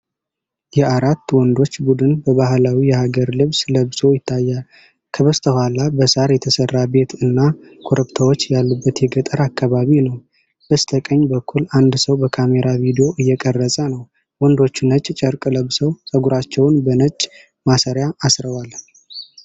የአራት ወንዶች ቡድን በባህላዊ የሀገር ልብስ ለብሶ ይታያል። ከበስተኋላ በሳር የተሰራ ቤት እና ኮረብታዎች ያሉበት የገጠር አካባቢ ነው። በስተቀኝ በኩል አንድ ሰው በካሜራ ቪዲዮ እየቀረጸ ነው። ወንዶቹ ነጭ ጨርቅ ለብሰው፣ ፀጉራቸውን በነጭ ማሰሪያ አስረዋል።